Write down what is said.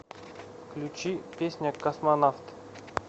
включи песня космонавт